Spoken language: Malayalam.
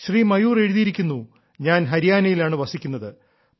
ശ്രീ മയൂർ എഴുതിയിരിക്കുന്നു ഞാൻ ഹരിയാനയിലാണ് വസിക്കുന്നത്